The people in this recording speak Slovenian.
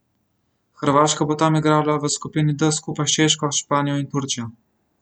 Hrvaška bo tam igrala v skupini D skupaj s Češko, Španijo in Turčijo.